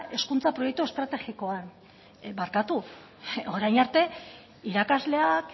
hezkuntza proiektu estrategikoan barkatu orain arte irakasleak